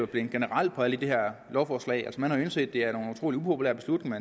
blevet generelt for alle de her lovforslag man har indset at det er nogle utrolig upopulære beslutninger